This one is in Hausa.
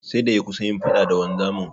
Sai da ya kusa yin faɗa da wanzamin.